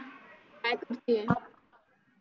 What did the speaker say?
काय करती आहे?